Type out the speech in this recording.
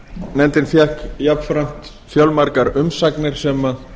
nefndin fékk jafnframt fjölmargar umsagnir sem